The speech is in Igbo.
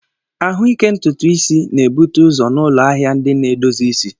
Ahụike ntutu isi na-ebute ụzọ n'ụlọ ahịa ndị na-edozi isi.